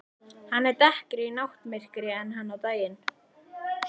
Hann er dekkri í náttmyrkrinu en hann er á daginn.